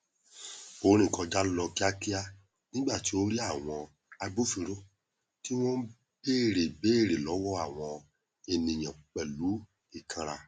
ó rìn kọjá lọ kíákíá nígbà tó rí àwọn agbófinró tí wọn n bèrè ìbéèrè lọwọ àwọn ènìyàn pẹlú ìkanra